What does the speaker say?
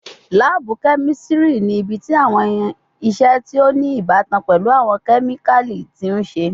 Laabu kemistri ni ibiti awọn iṣe ti o ni ibatan pẹlu awọn kemikali ti n ṣe